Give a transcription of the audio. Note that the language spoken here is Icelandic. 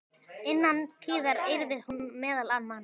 Innan tíðar yrði hún meðal manna.